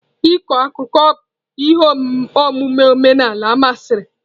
Ịkọ akụkọ bụ ihe omume omenala masịrị.